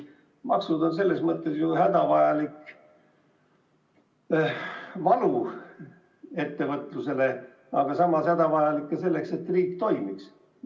Maksud on selles mõttes ju hädavajalik valu ettevõtlusele, aga samas on need hädavajalikud ka selleks, et riik toimiks.